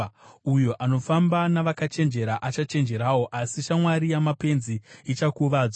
Uyo anofamba navakachenjera achachenjerawo, asi shamwari yamapenzi ichakuvadzwa.